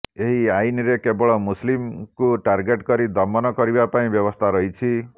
ଏହି ଆଇନରେ କେବଳ ମୁସଲିମଙ୍କୁ ଟାର୍ଗେଟ୍ କରି ଦମନ କରିବା ପାଇଁ ବ୍ୟବସ୍ଥା ରହିଛି